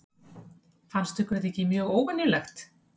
Fannst ykkur þetta ekki mjög óvenjulegt?